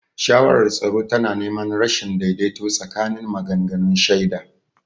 Shawarar tsaro tana neman rashin daidaito tsakanin maganganun shaida.